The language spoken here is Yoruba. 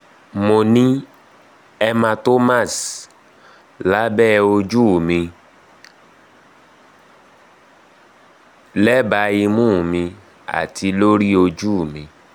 mo ni hematomas labẹ oju mi lẹba imu mi ati lori oju mi